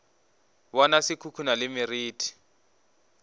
bona se khukhuna le meriti